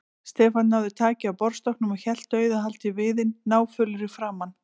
Stefán náði taki á borðstokknum og hélt dauðahaldi í viðinn, náfölur í framan.